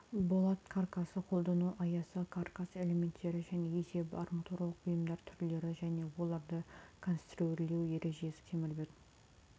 болат каркасын қолдану аясы каркас элементтері және есебі арматуралық бұйымдар түрлері және оларды конструирлеу ережесі темірбетон